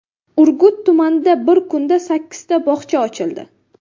Urgut tumanida bir kunda sakkizta bog‘cha ochildi.